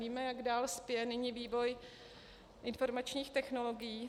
Víme, jak dál spěje nyní vývoj informačních technologií.